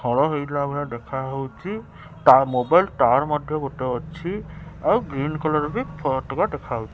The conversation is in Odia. ହଳ ହେଇଥିଲା ଭଳିଆ ଦେଖା ହଉଚି ତା ମୋବାଇଲ ଟାୱାର ମଧ୍ୟ ଗୋଟେ ଅଛି ଆଉ ଗ୍ରୀନ କଲର ବି ଫଟକା ଦେଖାଉ।